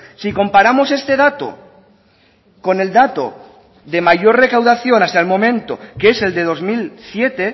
si comparamos este dato con el dato de mayor recaudación hasta el momento que es el de dos mil siete